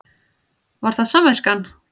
Var það samviskan?